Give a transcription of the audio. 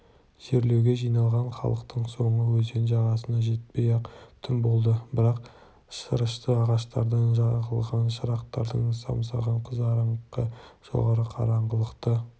жерлеуге жиналған халықтың соңы өзен жағасына жетпей-ақ түн болды бірақ шырышты ағаштардан жағылған шырақтардың самсаған қызарыңқы жарығы қараңғылықты